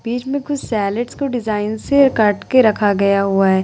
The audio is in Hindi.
बीच में कुछ सेलेड्स को डिजाइन से काट के रखा गया हुआ है।